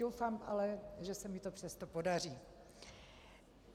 Doufám ale, že se mi to přesto podaří.